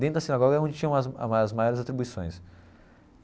Dentro da sinagoga é onde tinham as as maiores atribuições.